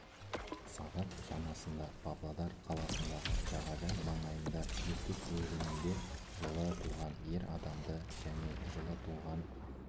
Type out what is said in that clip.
сағат шамасында павлодар қаласындағы жағажай маңайында ертіс өзінінде жылы туған ер адамды және жылы туған